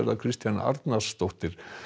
Kristjana Arnarsdóttir